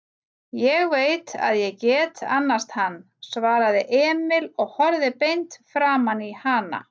Ég veit að ég get annast hann, svaraði Emil og horfði beint framaní hana.